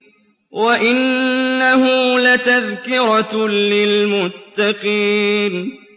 وَإِنَّهُ لَتَذْكِرَةٌ لِّلْمُتَّقِينَ